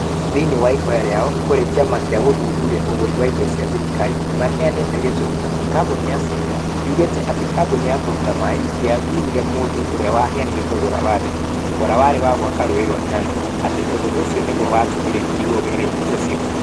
Thĩiniĩ wa ihoya rĩao kũrĩ kiama gia gũthuthuria ũgũri wa indo cia thirikari nĩ maheanĩtĩ gitũmi. kambuni ya caina yugĩte atĩ kambuni ya kũruta maaĩ ndĩathuurire mũndũ ũrĩa waheanire thogora wa thĩ. Thogora warĩ wa gwaka rũũĩ rwa Nyando. Ati ũndũ ũcio nĩguo watũmire ĩtigwo wĩra-inĩ ũcio.